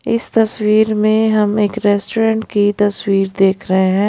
इस तस्वीर में हम एक रेस्टोरेंट की तस्वीर देख रहे है।